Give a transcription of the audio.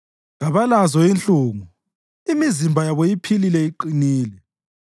Kabalazo inhlungu; imizimba yabo iphilile iqinile.